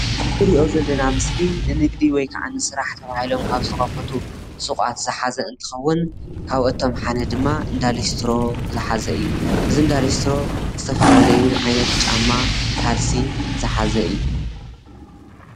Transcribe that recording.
እዚ ንሪኦ ዘለና ምስሊ ንንግዲ ወይከኣ ንስራሕ ተባሂሎም ካብ ዝተከፈቱ ሱቋት ዝሓዘ እንትከዉን ካብ ኣቶም ሓደ ድማ እንዳ ሊስትሮ ዝሓዘ እዩ። እዚ እንዳሊስትሮ ዝተፈላለዩ ዓይነት ጫማ ካልሲ ዝሓዘ እዩ።